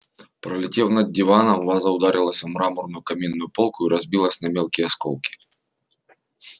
пролетев над диваном ваза ударилась о мраморную каминную полку и разбилась на мелкие осколки